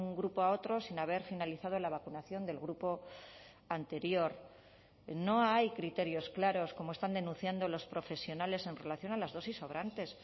grupo a otro sin haber finalizado la vacunación del grupo anterior no hay criterios claros como están denunciando los profesionales en relación a las dosis sobrantes